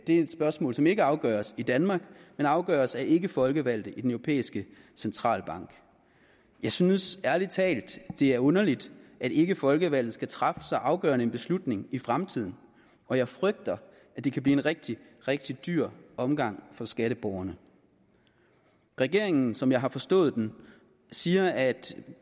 et spørgsmål som ikke afgøres i danmark men afgøres af ikkefolkevalgte i den europæiske centralbank jeg synes ærlig talt det er underligt at ikkefolkevalgte skal træffe så afgørende en beslutning i fremtiden og jeg frygter at det kan blive en rigtig rigtig dyr omgang for skatteborgerne regeringen som jeg har forstået den siger at